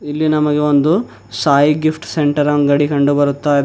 ಇಲ್ಲಿ ನಮಗೆ ಒಂದು ಸಾಯಿ ಗಿಫ್ಟ್ ಸೆಂಟರ್ ಅಂಗಡಿ ಕಂಡು ಬರುತ್ತಾ ಇ --